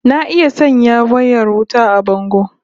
Na iya sanya wayar wuta a bango